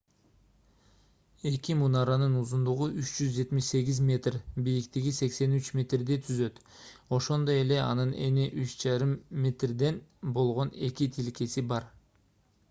эки мунаранын узундугу 378 метр бийиктиги 83 метрди түзөт ошондой эле анын эни 3,50 метрден болгон эки тилкеси бар